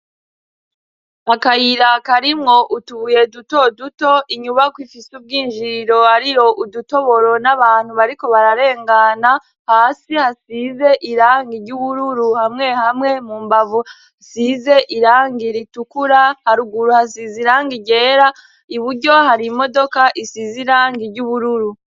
akayira karimwo utubuye duto duto inyubako ifise ubwinjiriro hariyo udutoboro n'abantu bariko bararengana hasi hasize irangi ry'ubururu hamwe hamwe mu mbavu size irangi ritukura haruguru hasize irangi ryera iburyo hari imodoka isize irangi ry'ubururu